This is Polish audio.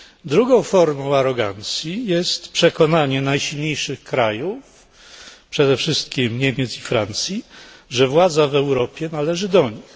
Drugą formą arogancji jest przekonanie najsilniejszych krajów, przede wszystkim Niemiec i Francji, że władza w Europie należy do nich.